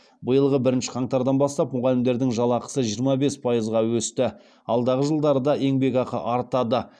биылғы бірінші қаңтардан бастап мұғалімдердің жалақысы жиырма бес пайызға өсті алдағы жылдары да еңбекақы артады